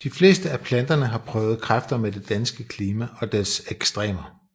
De fleste af planterne har prøvet kræfter med det danske klima og dets ekstremer